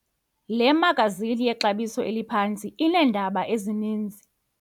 Le magazini yexabiso eliphantsi ineendaba ezininzi.